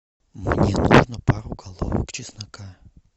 мне нужно пару головок чеснока